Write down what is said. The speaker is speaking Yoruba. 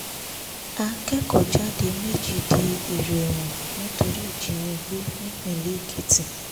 akẹ́kọ̀ọ́jáde méjì di èèrò ẹ̀wọ̀n nítorí ìjínigbé nípìnlẹ̀ èkìtì